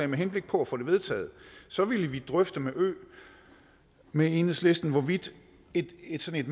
med henblik på at få det vedtaget så vil vi drøfte med med enhedslisten hvorvidt et et sådant